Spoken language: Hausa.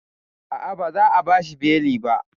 A'a, ba za a bashi beli ba